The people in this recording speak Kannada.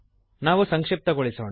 ನಾವು ಸಂಕ್ಷಿಪ್ತಗೊಳಿಸೋಣ